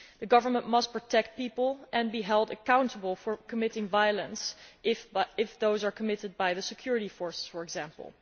The government must protect people and be held accountable for committing violence if such acts are committed by the security forces, for example.